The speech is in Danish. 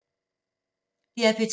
DR P2